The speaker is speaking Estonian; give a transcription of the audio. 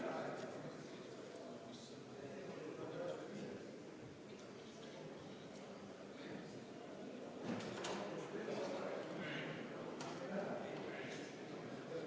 Palun seda teha valimiskomisjoni aseesimehel Airi Miklil!